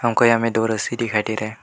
हमको यहां में दो रस्सी दिखाई दे रहा है।